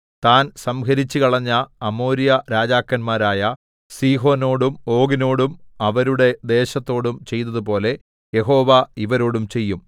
താൻ സംഹരിച്ചുകളഞ്ഞ അമോര്യരാജാക്കന്മാരായ സീഹോനോടും ഓഗിനോടും അവരുടെ ദേശത്തോടും ചെയ്തതുപോലെ യഹോവ ഇവരോടും ചെയ്യും